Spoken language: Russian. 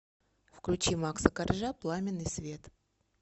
включи макса коржа пламенный свет